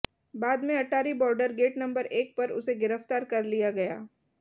बाद में Attari border gate number एक पर उसे गिरफ्तार कर लिया गया